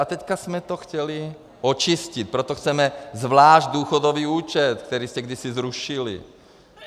A teď jsme to chtěli očistit, proto chceme zvlášť důchodový účet, který jste kdysi zrušili.